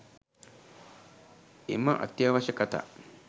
එම අත්‍යවශ්‍ය කථා